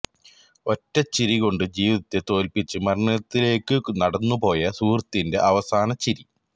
ഒറ്റച്ചിരി കൊണ്ട് ജീവിതത്തെ തോല്പിച്ച് മരണത്തിലേക്കു നടന്നു പോയ സുഹൃത്തിന്റെ അവസാനചിരി